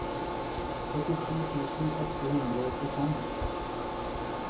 syttito tusen åtte hundre og åttifem